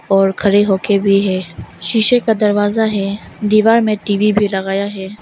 और खड़े होकर भी है शीशे का दरवाजा है दीवार में टी_वी भी लगाया है।